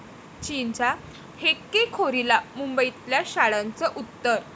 चीनच्या हेकेखोरीला मुंबईतल्या शाळांचं उत्तर